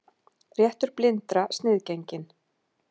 Réttur blindra sniðgenginn